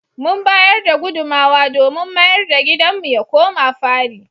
Mun bayar da gudunmowa domin mayar da gidanmu ya koma fari.